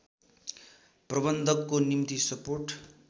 प्रबन्धकको निम्ति सपोर्ट